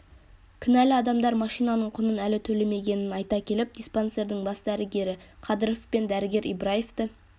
кінәлі адамдар машинаның құнын әлі төлемегенін айта келіп диспансердің бас дәрігері қадыров пен дәрігер ибраевті